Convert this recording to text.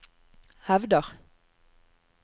hevder